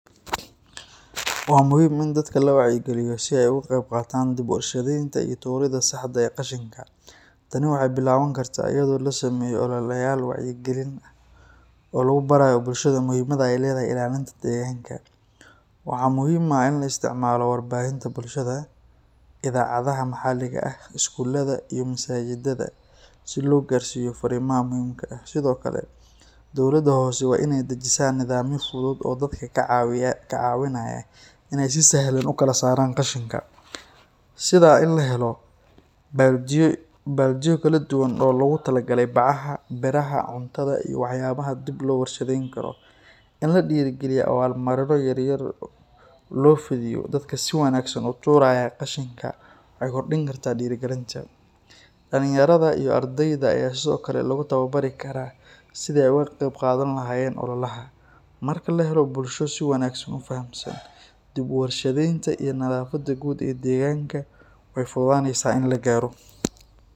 Waa muhim ini dadka lawacya galiyo sii ay oga qebqatan bid ushidinta iyo turida saxda eeh qashinka, tani waxay bilabani karta ayado losameyo olalayal wacya galin oo lagubarayo bulshada muhimada ay ledahahy ilalinta deganka, waxa muhim ah laa istacmalo warbahinta bulshada, idacadaha maxaliga ah, skulada iyo masajidaha, sii logarsiyo farimaha muhimka ah, sidiokale dowlada hose waa inay dajisa nidamyo fudud kacawinayo inay si sahlan ukalasaran qashinka, sidhaa in lahelo baldiyo kaladuban oo logu talagale bacaaha, birahaa cuntada iyo waxyabaha dib loo warshadeyni karo, ini ladiri galiyo awal marino yar yar loo fidiyo dadka sii wanagsan uturayan qashinka mxay kordini karta dirigalinta, dalinyarada iyo ardeyda aya sidiokale logutawabari karaa sii ay oga qebqadhani lahayen olalaha marka lahelo, bulsho si wanagsan ufahamsan dib uwarshadeynta iyo nadafada guud ee deganka way fududaneysa ini lagaro.